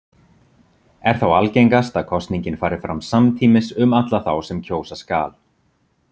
Er þá algengast að kosningin fari fram samtímis um alla þá sem kjósa skal.